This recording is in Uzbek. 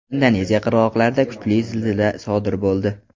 Indoneziya qirg‘oqlarida kuchli zilzila sodir bo‘ldi.